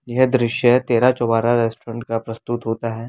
यह दृश्य तेरा चोवारा रेस्टोरेंट का प्रस्तुत होता है।